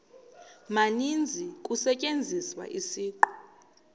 maninzi kusetyenziswa isiqu